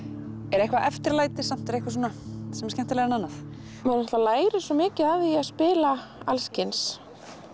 er eitthvað eftirlæti eitthvað sem er skemmtilegra en annað maður lærir svo mikið af því að spila alls kyns